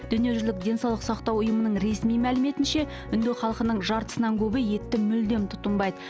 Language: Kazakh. дүниежүзілік денсаулық сақтау ұйымының ресми мәліметінше үнді халқының жартысынан көбі етті мүлдем тұтынбайды